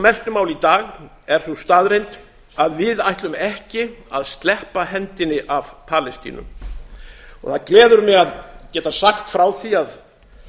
mestu máli í dag er sú staðreynd að við ætlum ekki að sleppa hendinni af palestínu það gleður mig að geta sagt frá því að